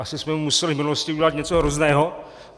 Asi jsme mu museli v minulosti udělat něco hrozného.